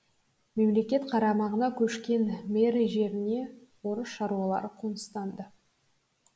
мемлекет қарамағына көшкен мари жеріне орыс шаруалары қоныстанды